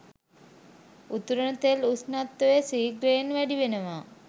උතුරන තෙල් උෂ්ණත්වය ශීඝ්‍රයෙන් වැඩි වෙනවා.